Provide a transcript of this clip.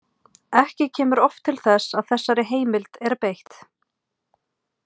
Ekki kemur oft til þess að þessari heimild er beitt.